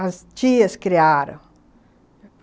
As tias criaram.